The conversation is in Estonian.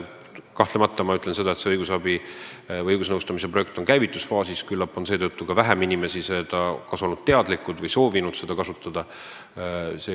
Kahtlemata on õigusnõustamise projekt alles käivitusfaasis, küllap seetõttu on ka vähem inimesi olnud sellest teadlikud ja soovinud seda kasutada.